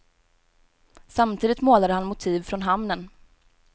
Samtidigt målade han motiv från hamnen.